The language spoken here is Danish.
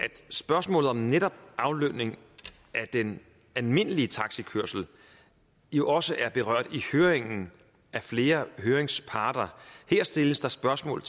spørgsmålet om netop aflønning af den almindelige taxikørsel jo også er berørt i høringen af flere høringsparter her stilles der spørgsmål